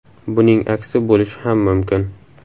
Buning aksi bo‘lishi ham mumkin.